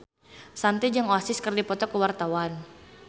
Shanti jeung Oasis keur dipoto ku wartawan